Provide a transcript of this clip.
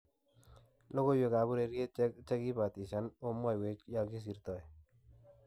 Logoiwek ab ureriet chekakibitishan amwoywek yekisirto.